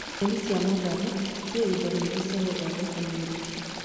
Nyeni cia matharũ indo cia guthondeka mwiri nyingi